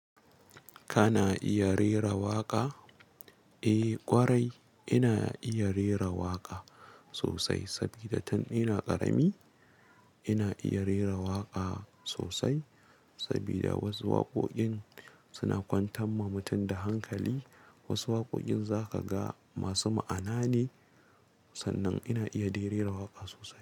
Kana iya rera waƙa? Eh ƙwarai, ina iya rera waƙa sosai sabida tan ina ƙarami. Ina iya rera waƙa sosai sabida wasu waƙoƙin suna kwantan ma mutum da hankali. Wasu waƙoƙin za ka ga masu ma'ana ne. Sannan ina iya dai rera waƙa sosai.